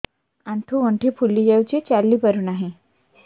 ଆଂଠୁ ଗଂଠି ଫୁଲି ଯାଉଛି ଚାଲି ପାରୁ ନାହିଁ